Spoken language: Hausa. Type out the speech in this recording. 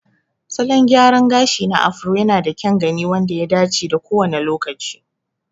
Salon gyraran gashi na Afro yanada kyan gani wanda ya dace da kowane lokaci.